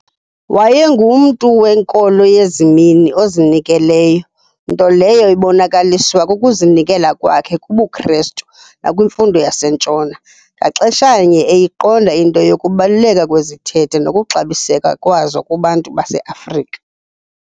Wayengumntu wenkolo yezimini, ozinikeleyo, nto leyo ibonakaliswa kukuzinikela kwakhe kubuKrestu nakwimfundo yaseNtshona, ngaxesha-nye eyiqonda into yokubaluleka kwezithethe nokuxabiseka kwazo kubantu baseAfrika.